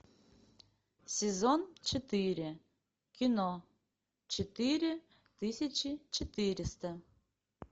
сезон четыре кино четыре тысячи четыреста